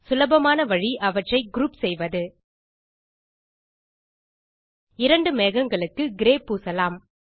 சுலபமான வழி அவற்றை குரூப் செய்வது இரண்டு மேகங்களுக்கு கிரே பூசலாம்